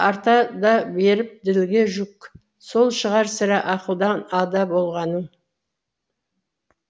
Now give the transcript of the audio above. арта да беріп ділге жүк сол шығар сірә ақылдан ада болғаның